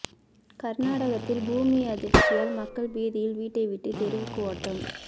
கர்நாடகத்தில் பூமி அதிர்ச்சியால் மக்கள் பீதியில் விட்டை விட்டு தெருவுக்கு ஓட்டம்